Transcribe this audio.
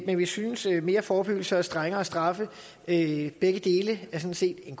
men vi synes at mere forebyggelse og strengere straffe begge dele sådan set er